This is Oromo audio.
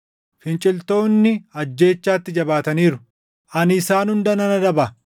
Finciltoonni ajjeechaatti jabaataniiru. Ani isaan hunda nan adaba.